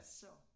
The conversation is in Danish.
Så